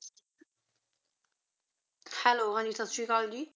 hello ਹਨ ਜੀ ਸਤ ਸ਼੍ਰੀ ਕਾਲ ਗੀ